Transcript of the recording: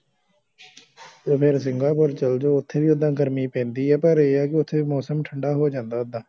ਤੇ ਫੇਰ ਸਿੰਗਾਪੁਰ ਚਲਜੋ ਉਥੇ ਵੀ ਓਦਾਂ ਗਰਮੀ ਪੈਂਦੀ ਆ ਪਰ ਇਆ ਕੇ ਓਥੇ ਮੌਸਮ ਠੰਡਾ ਹੋ ਜਾਂਦਾ ਓਦਾਂ